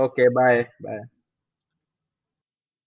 Okay bye bye.